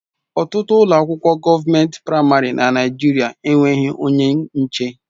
Ọtụtụ ụlọ akwụkwọ gọọment praịmarị na Naijiria enweghị onye nche.